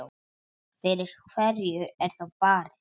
Fyrir hverju er þá barist?